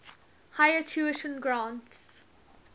higher tuition grants